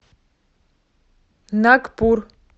нагпур